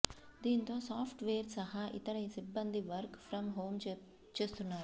దీంతో software సహా ఇతర సిబ్బంది వర్క్ ఫ్రం హోం చేస్తున్నారు